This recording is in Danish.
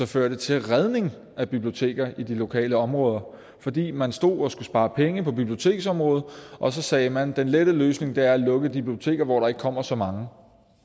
ført til redning af biblioteker i de lokale områder fordi man stod og skulle spare penge på biblioteksområdet og så sagde man at den lette løsning er at lukke de biblioteker hvor der ikke kommer så mange